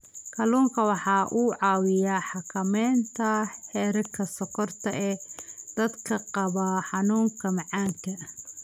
Kalluunku waxa uu caawiyaa xakamaynta heerka sonkorta ee dadka qaba xanuunka macaanka.